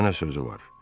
Mənə sözü var.